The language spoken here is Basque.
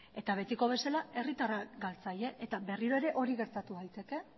eta betiko bezala herritarrak galtzaile eta berriro ere hori gertatu daiteke